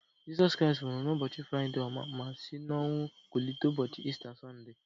Jesu Kristi nwụrụ na ụbọchi Fraịde ọma ma si n'ọnwụ kulite ụbọchị Ista Sọnde